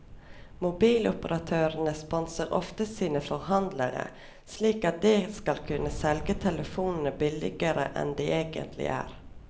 Mobiloperatørene sponser ofte sine forhandlere, slik at de skal kunne selge telefonene billigere enn de egentlig er.